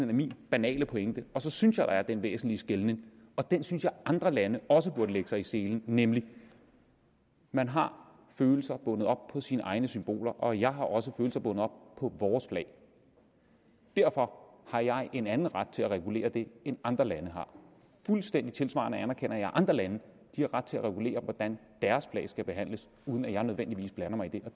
er min banale pointe og så synes jeg der er den væsentlige skelnen og den synes jeg andre lande også burde lægge sig i selen nemlig at man har følelser bundet op på sine egne symboler og jeg har også følelser bundet op på vores flag derfor har jeg en anden ret til at regulere det end andre lande har fuldstændig tilsvarende anerkender jeg at andre lande har ret til at regulere hvordan deres flag skal behandles uden at jeg nødvendigvis blander mig i det